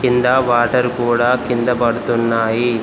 కిందా వాటర్ కూడా కింద పడుతున్నాయి.